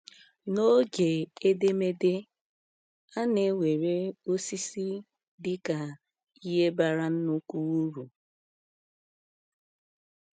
N’oge edemede, a na-ewere osisi dị ka ihe bara nnukwu uru.